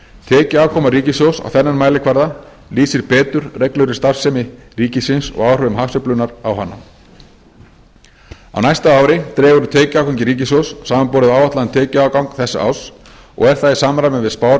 tekjuafkoma ríkissjóðs á þennan mælikvarða lýsir betur reglulegri starfsemi ríkisins og áhrifum hagsveiflunnar á hana á næsta ári dregur úr tekjuafgangi ríkissjóðs samanborið við áætlaðan tekjuafgang þessa árs og er það í samræmi við spár